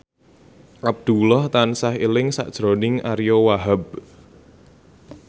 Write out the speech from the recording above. Abdullah tansah eling sakjroning Ariyo Wahab